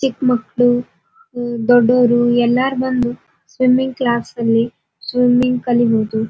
ಚಿಕ್ಕಮಕ್ಳು ದೊಡ್ಡವರು ಎಲ್ಲರು ಬಂದು ಸ್ವಿಮ್ಮಿಂಗ್ ಕ್ಲಾಸ್ ಅಲ್ಲಿ ಸ್ವಿಮ್ಮಿಂಗ್ ಕಲೀಬಹುದು.